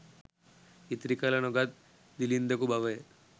ඉතිරි කර නොගත් දිළින්දකු බවය.